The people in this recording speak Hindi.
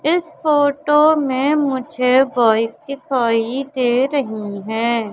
फोटो में मुझे बाइक दिखाई दे रहीं हैं।